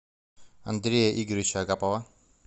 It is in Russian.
андрея игоревича агапова